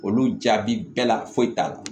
Olu jaabi bɛɛ la foyi t'a la